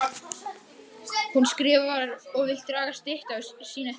Hún skrifar og vill draga styttu sína til baka.